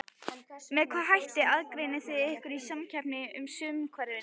Með hvaða hætti aðgreinið þið ykkur í samkeppnisumhverfinu?